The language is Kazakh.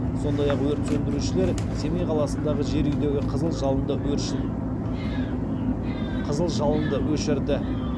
сондай ақ өрт сөндірушілер семей қаласындағы жер үйдегі қызыл жалынды өшірді